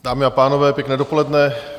Dámy a pánové, pěkné dopoledne.